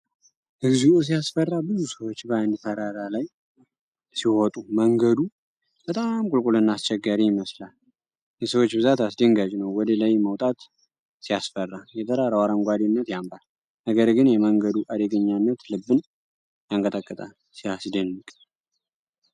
እግዚኦ ሲያስፈራ! ብዙ ሰዎች በአንድ ተራራ ላይ ሲወጡ! መንገዱ በጣም ቁልቁልና አስቸጋሪ ይመስላል። የሰዎች ብዛት አስደንጋጭ ነው! ወደ ላይ መውጣት ሲያስፈራ! የተራራው አረንጓዴነት ያምራል፣ ነገር ግን የመንገዱ አደገኛነት ልብን ያንቀጠቀጣል። ሲያስደንቅ!